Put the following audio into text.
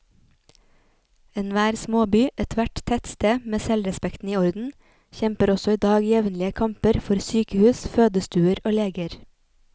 Enhver småby, ethvert tettsted med selvrespekten i orden, kjemper også i dag jevnlige kamper for sykehus, fødestuer og leger.